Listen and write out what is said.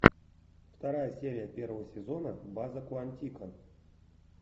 вторая серия первого сезона база куантико